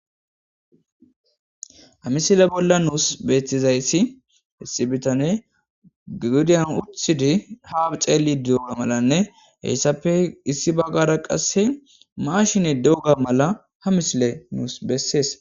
Ha misile bolla nuus beettizayssi issi bitaney oothidi gadiyan oothidi ha xeellidi diyowa malanne heysappe issi baggara qasse maashine diyoga mala ha misile nus bessees.